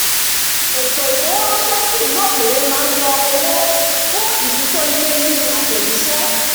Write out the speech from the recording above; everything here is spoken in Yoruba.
ètò ifowóránṣẹ́ sí ìlú òkèèrè máa ń yọ owó fún ìfitónilétí àtẹ̀jíṣẹ́